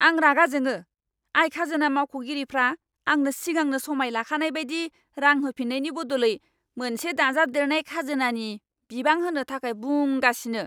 आं रागा जोंङो आय खाजोना मावख'गिरिफ्रा आंनो सिगांनो समाय लाखानाय बायदि रां होफिन्नायनि बदलै मोनसे दाजाबदेरनाय खाजोनानि बिबां होनो थाखाय बुंगासिनो।